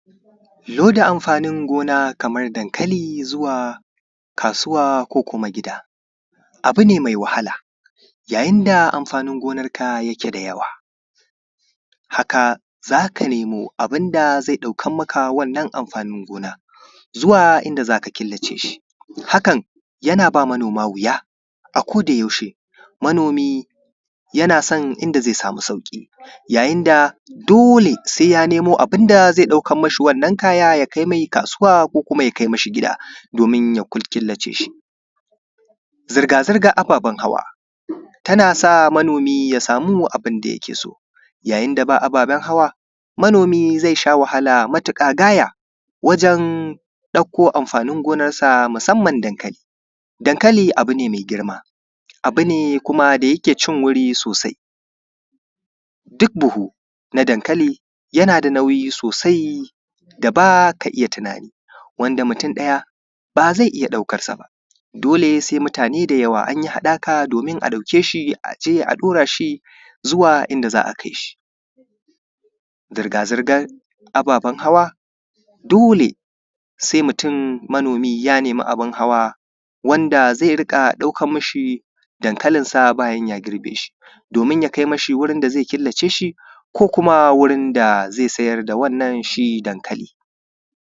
Loda amfanin gona kamar dankali zuwa gida ko kasuwa, abu ne mai wahala a jajin da amfanin gonarka yake da yawa haka za ka nemo abin da zai ɗauka maka wannan amfanin gona, zuwa inda za ka killace shi. Hakan yana ba mano:ma wuya a kodayaushe, manomi yana san inda zaI sami sauƙi, yayin da dole sai ya samo abin da zai ɗaukan mashi wannan kaya ya kai mai kasuwa ko kuma ya kai mashi gida domin ya killace shi. Zirga-zirgan ababen hawa tana sa manomi ya samu abin da yake so, yayin da ababen hawa manomi zai sha wahala gaya, wajen ɗauko amfanin gonarsa masamman dankali. Dankali abu mai girma, kuma abu ne da yake cin wuri sosai. Duk buhu na dankali yana da nauyi sosai da baka iya tunani, wanda mutum ɗaya ba zai iya ɗaukarsa ba. Dole sai mutane da yawa anyi haɗaka domin a ɗauke shi a je a ɗura shi zuwa inda za a kai shi. Zrga-zirgan ababen hawa dole sai mutun manomi ya nemi abin hawa, wanda zai dinga ɗaukan mashi dankalinsa bayan ya girbe shi,, domin ya kai ma sh wurin da zai killace shi ko kuma wurin da zai sayar da wanna n shi dankali.